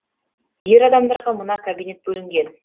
ер адамдарға мына кабинет бөлінген